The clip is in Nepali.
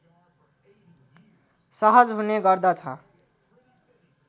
सहज हुने गर्दछ